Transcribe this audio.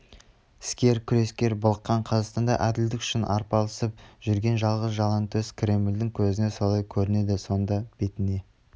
іскер күрескер былыққан қазақстанда әділдік үшін арпалысып жүрген жалғыз жалаңтөс кремльдің көзіне солай көрінеді сонда бетіне